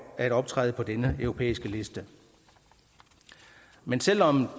at optræde på denne europæiske liste men selv om